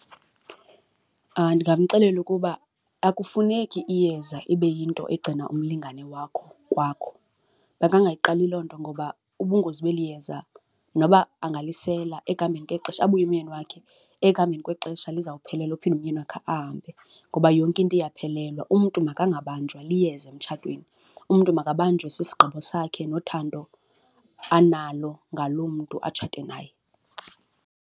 Ndingamxelela ukuba akufuneki iyeza ibe yinto egcina umlingane wakho kwakho. Makangayiqali loo nto ngoba ubungozi beli yeza noba angalisela ekuhambeni kwexesha abuye umyeni wakhe, ekuhambeni kwexesha lizawuphelelwa aphinde umyeni wakhe ahambe ngoba yonke into iyaphelelwa. Umntu makangabanjwa liyeza emtshatweni, umntu makababanjwe sisigqibo sakhe nothando analo ngaloo mntu atshate naye.